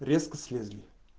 резко слезли